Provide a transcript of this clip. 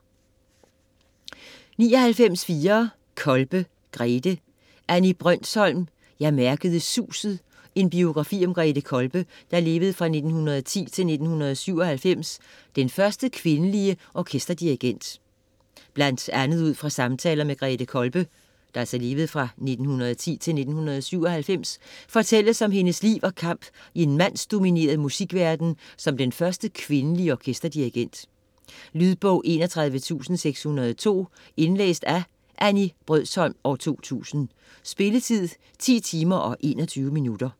99.4 Kolbe, Grethe Brøndsholm, Annie: Jeg mærkede suset: en biografi om Grethe Kolbe (1910-1997): den første kvindelige orkesterdirigent Blandt andet ud fra samtaler med Grethe Kolbe (1910-1997) fortælles om hendes liv og kamp i en mandsdomineret musik-verden som den første kvindelige orkesterdirigent. Lydbog 31602 Indlæst af Annie Brøndsholm, 2000. Spilletid: 10 timer, 21 minutter.